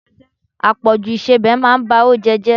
Àpọjù ìsebẹ̀ máa ba oúnjẹ jẹ.